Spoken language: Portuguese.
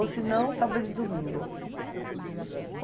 Ou se não, sábado e domingo.